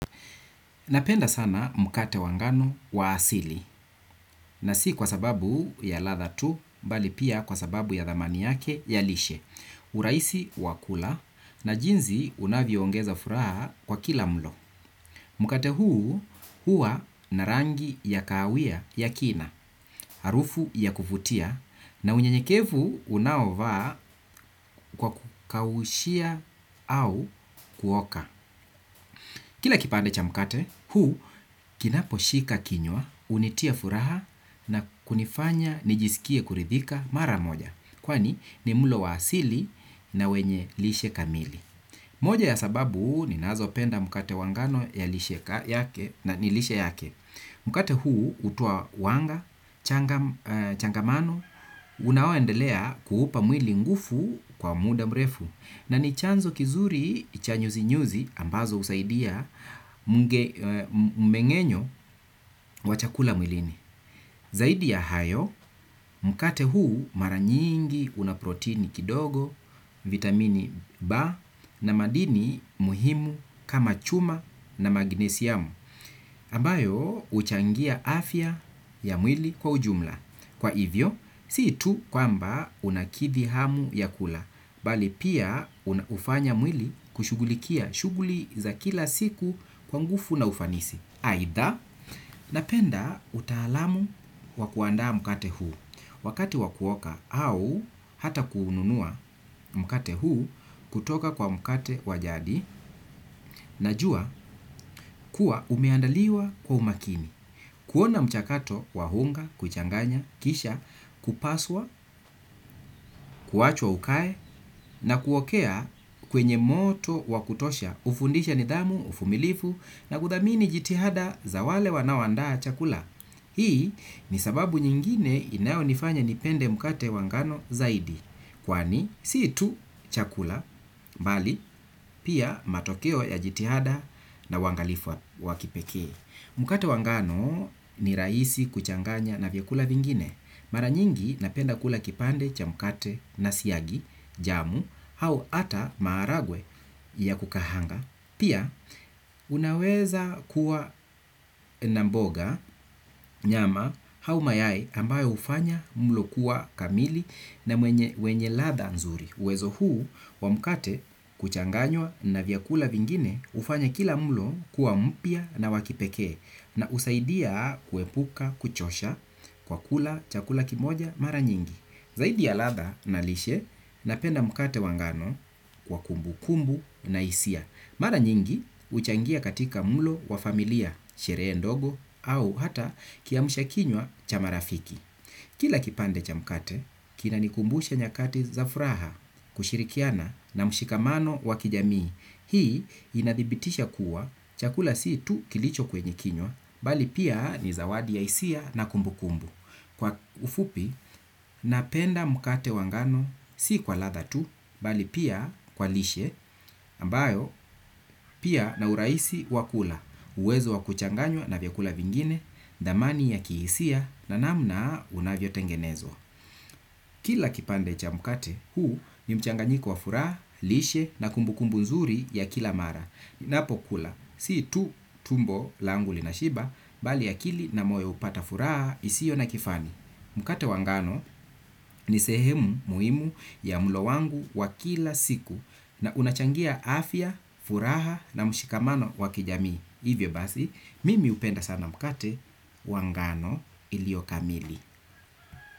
Napenda sana mkate wa ngano waasili, na si kwa sababu ya latha tu, bali pia kwa sababu ya dhamani yake ya lishe, urahisi wa kula, na jinzi unavyoongeza furaha kwa kila mlo. Mkate huu, hua na rangi ya kawia ya kina, harufu ya kuvutia, na unye nyekevu unaovaa kwa kukaushia au kuoka. Kila kipande cha mkate, huu kinapo shika kinywa, unitia furaha na kunifanya nijisikie kuridhika mara moja. Kwani ni mlo wa asili na wenye lishe kamili. Moja ya sababu ni nazo penda mkate wa ngano ya lishe yake na nilishe yake. Mkate huu hutoa wanga, changamano, unaoendelea kuhupa mwili ngufu kwa muda mrefu. Na ni chanzo kizuri cha nyuzi nyuzi ambazo husaidia mmengenyo wa chakula mwilini. Zaidi ya hayo, mkate huu maranyingi unaprotini kidogo, vitamini ba na madini muhimu kama chuma na maginesi yamu. Ambayo uchangia afya ya mwili kwa ujumla. Kwa hivyo, sii tu kwamba unakithi hamu ya kula, bali pia hufanya mwili kushugulikia shuguli za kila siku kwa ngufu na ufanisi. Aidha, napenda utaalamu wakuandaa mkate huu wakati wakuoka au hata kuununua mkate huu kutoka kwa mkate wa jadi na jua kuwa umeandaliwa kwa umakini. Kuona mchakato wahunga, kuchanganya, kisha, kupaswa, kuachwa ukae na kuokea kwenye moto wakutosha ufundisha nidhamu, ufumilifu na kuthamini jitihada za wale wanaoandaa chakula. Hii ni sababu nyingine inayo nifanya nipende mkate wangano zaidi kwani sii tu chakula, bali, pia matokeo ya jitihada na uangalifu wakipekee. Mkate wa ngano ni rahisi kuchanganya na vyakula vingine. Mara nyingi napenda kula kipande cha mkate na siagi, jamu, hau ata maharagwe ya kukahanga. Pia, unaweza kuwa na mboga nyama hau mayai ambayo hufanya mlo kuwa kamili na wenye latha nzuri. Uwezo huu wa mkate kuchanganywa na vyakula vingine hufanya kila mlo kuwa mpya na wakipekee na usaidia kuepuka kuchosha kwa kula chakula kimoja mara nyingi. Zaidi ya latha na lishe na penda mkate wa ngano kwa kumbu kumbu na hisia. Mara nyingi huchangia katika mlo wa familia, sherehe ndogo au hata kiamsha kinywa cha marafiki. Kila kipande cha mkate, kina nikumbusha nyakati za furaha kushirikiana na mshikamano wakijamii. Hii inadhibitisha kuwa chakula si tu kilicho kwenye kinywa, bali pia ni zawadi ya hisia na kumbu kumbu. Kwa ufupi, napenda mkate wa ngano si kwa latha tu, bali pia kwa lishe, ambayo pia na uraisi wakula, uwezo wakuchanganywa na vyakula vingine, dhamani ya kihisia na namna unavyo tengenezwa. Kila kipande cha mkate huu ni mchanganyiko wa furaha, lishe na kumbu kumbu nzuri ya kila mara, ninapo kula, si tu tumbo langu lina shiba, bali akili na moyo hupata furaha isio na kifani. Mkate wa ngano ni sehemu muhimu ya mlo wangu wa kila siku na unachangia afya, furaha na mshikamano wakijami. Hivyo basi, mimi hupenda sana mkate wangano iliokamili.